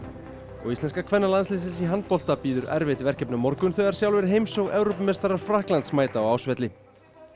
og íslenska kvennalandsliðsins í handbolta bíður erfitt verkefni á morgun þegar sjálfur heims og Evrópumeistarar Frakklands mæta á Ásvelli